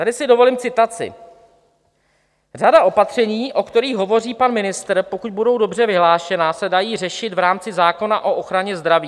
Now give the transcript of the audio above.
Tady si dovolím citaci: "Řada opatření, o kterých hovoří pan ministr, pokud budou dobře vyhlášena, se dají řešit v rámci zákona o ochraně zdraví.